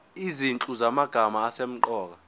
izinhlu zamagama asemqoka